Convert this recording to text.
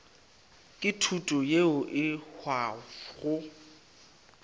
ke thuto yeo e hwago